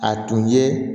A tun ye